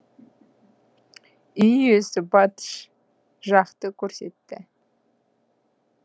үй иесі батыс жақты көрсетті